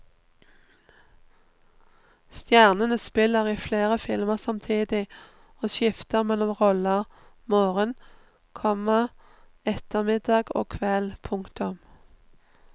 Stjernene spiller i flere filmer samtidig og skifter mellom roller morgen, komma ettermiddag og kveld. punktum